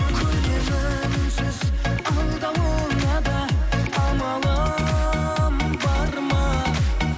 көнемін үнсіз алдауыңа да амалым бар ма